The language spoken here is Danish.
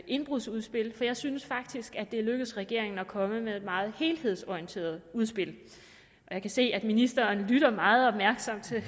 indbrudsudspil for jeg synes faktisk at det er lykkedes regeringen at komme med et meget helhedsorienteret udspil jeg kan se at ministeren lytter meget opmærksomt til